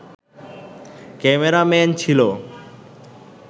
cameraman ছিল